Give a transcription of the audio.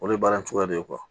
O de ye baara in cogoya de ye